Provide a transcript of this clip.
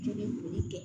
Joli kɛ